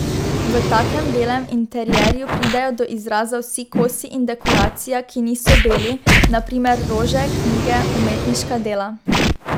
V takem belem interierju pridejo do izraza vsi kosi in dekoracija, ki niso beli, na primer rože, knjige, umetniška dela.